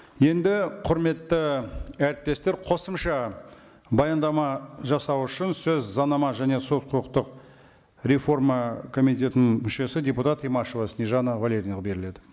енді құрметті әріптестер қосымша баяндама жасау үшін сөз заңнама және сот құқықтық реформа комитетінің мүшесі депутат имашева снежанна валерьевнаға беріледі